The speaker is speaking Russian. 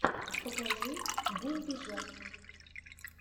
покажи булджать